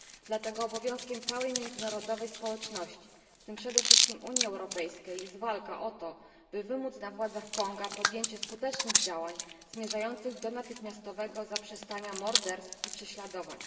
Dlatego obowiązkiem całej międzynarodowej społeczności, w tym przede wszystkim Unii Europejskiej, jest walka o to, by wymóc na władzach Konga podjęcie skutecznych działań zmierzających do natychmiastowego zaprzestania morderstw i prześladowań.